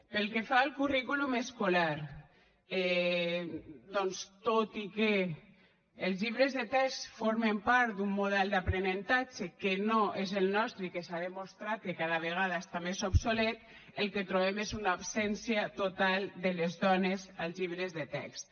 pel que fa al currículum escolar doncs tot i que els llibres de text formen part d’un model d’aprenentatge que no és el nostre i que s’ha demostrat que cada vegada està més obsolet el que trobem és una absència total de les dones als llibres de text